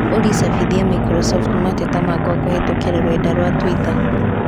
Olly cabithia Microsoft mateta makwa kũhītũkīra rũrenda rũa tũita